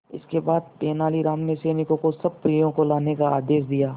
इसके बाद तेलानी राम ने सैनिकों को सब परियों को लाने का आदेश दिया